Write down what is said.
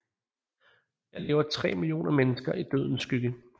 Her lever 3 millioner mennesker i dødens skygge